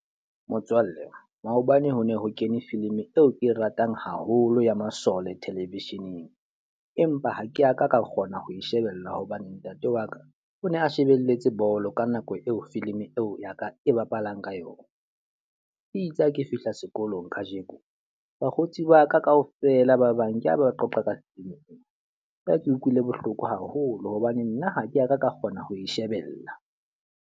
Motswalle, maobane ho ne ho kene filimi eo e ratang haholo ya masole television-eng. Empa ha ke a ka ka kgona ho e shebella hobane ntate wa ka o ne a shebelletse bolo ka nako eo filimi eo ya ka e bapalang ka yona. E itse ha ke fihla sekolong ka jeko, bakgotsi ba ka ka ofela ba bang ke a ba qoqa ka ke ha ke utlwile bohloko haholo hobane nna ha ke a ka ka kgona ho e shebella.